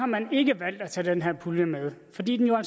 man ikke valgt at tage den her pulje med fordi den jo